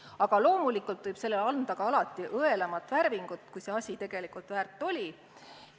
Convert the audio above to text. Aga loomulikult võib sellele anda ka õelama värvingu, kui see asi tegelikult väärt oli.